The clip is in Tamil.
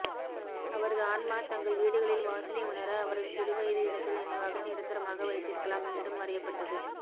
அவரது ஆன்மா தங்கள் வீடுகளில் வாசனை உணர அவரது சிறுவயது இடத்தில் நினைவாக நிரந்தரமாக வைத்திருக்கலாம் மீண்டும் வரையப்பட்டது